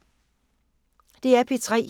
DR P3